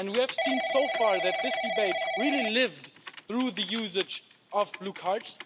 We have seen so far that this debate really lived through the usage of blue cards.